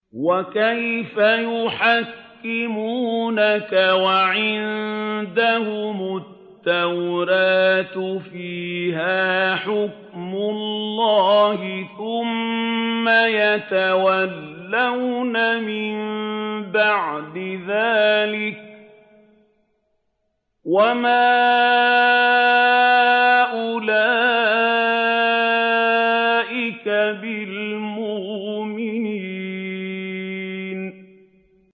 وَكَيْفَ يُحَكِّمُونَكَ وَعِندَهُمُ التَّوْرَاةُ فِيهَا حُكْمُ اللَّهِ ثُمَّ يَتَوَلَّوْنَ مِن بَعْدِ ذَٰلِكَ ۚ وَمَا أُولَٰئِكَ بِالْمُؤْمِنِينَ